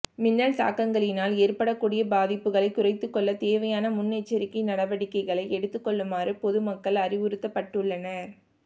மின்னல் தாக்கங்களினால் ஏற்படக்கூடிய பாதிப்புகளை குறைத்துக்கொள்ள தேவையான முன்னெச்சரிக்கை நடவடிக்கைகளை எடுத்துக் கொள்ளுமாறு பொதுமக்கள் அறிவுறுத்தப்பட்டுள்ளனர்